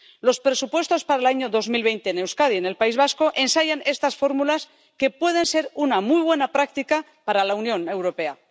Los presupuestos para el año 2020 en Euskadi —en el País Vasco— ensayan estas fórmulas que pueden ser una muy buena práctica para la Unión Europea.